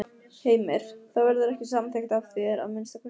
Heimir: Það verður ekki samþykkt af þér, að minnsta kosti?